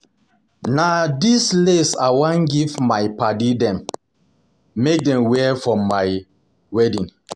Na dis lace I wan give my padddy dem make dem wear for my for my wedding.